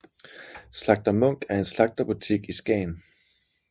Slagter Munch er en slagterbutik i Skagen